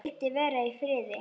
Vildi vera í friði.